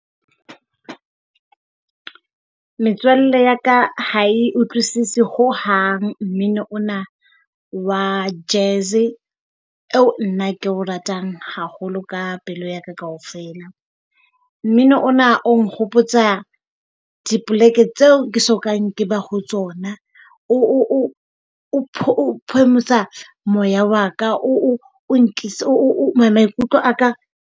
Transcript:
Metswalle ya ka ha e utlwisise ho hang mmino ona wa jazz e nna ke o ratang haholo ka pelo yaka kaofela? Mmino ona o nkgopotsa dipoleke tseo ke so kang ke ba ho tsona. O phomotsa moya wa ka o maikutlo a ka.